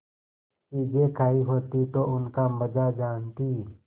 चीजें खायी होती तो उनका मजा जानतीं